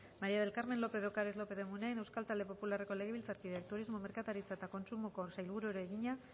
maría del carmen lópez de ocariz lópez de munain euskal talde popularreko legebiltzarkideak turismo merkataritza eta kontsumoko sailburuari egina